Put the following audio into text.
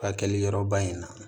Hakili yɔrɔba in na